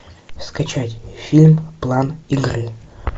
скачать фильм план игры